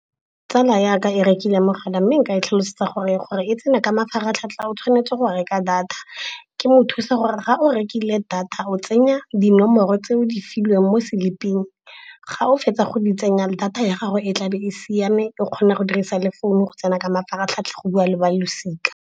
Tsala yaka e rekile mogala, mme nka e tlhalosetsa gore gore e tsena ka mafaratlhatlha o tshwanetse go reka data. Ke mo o thusa gore ga o rekile data, o tsenya dinomoro tse o di filweng mo slip-eng. Ga o fetsa go di tsenya, data ya gago e tlabe e siame, o kgona go dirisa le founu go tsena ka mafaratlhatlha go bua le ba losika.